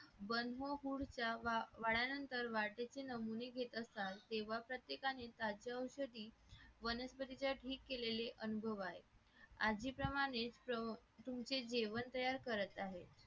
बंद फूडच्या आल्यानंतर वाटेचे नमुने घेत असतात तेव्हा प्रत्येकाने खाद्य औषधी वनस्पतीच्या ठीक केलेले अनुभव आहेत आज जे प्रमाणेच तुमचे जेवण तयार करत आहेत